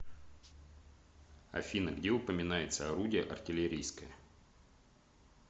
афина где упоминается орудие артиллерийское